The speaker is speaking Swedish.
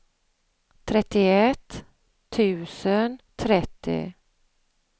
trettioett tusen trettio